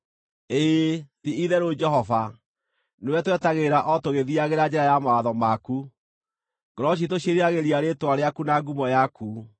Ĩĩ, ti-itherũ Jehova, nĩwe twetagĩrĩra o tũgĩthiiagĩra njĩra ya mawatho maku; ngoro ciitũ ciĩriragĩria rĩĩtwa rĩaku na ngumo yaku.